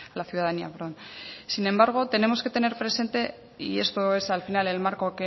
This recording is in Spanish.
la ciudadanía sin embargo tenemos que tener presente y esto es al final el marco